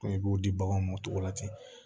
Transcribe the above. i b'o di baganw ma o cogo la ten